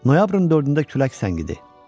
Noyabrın 4-də külək səngidi.